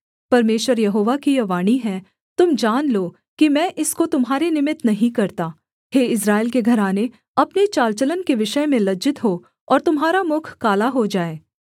परमेश्वर यहोवा की यह वाणी है तुम जान लो कि मैं इसको तुम्हारे निमित्त नहीं करता हे इस्राएल के घराने अपने चाल चलन के विषय में लज्जित हो और तुम्हारा मुख काला हो जाए